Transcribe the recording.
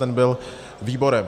Ten byl výborem...